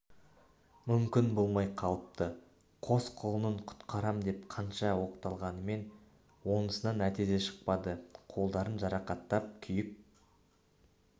мүмкін болмай қалыпты қос құлынын құтқарам деп қанша оқталғанмен онысынан нәтиже шықпады қолдарын жарақаттап күйік